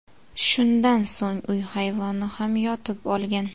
Shundan so‘ng uy hayvoni ham yotib olgan.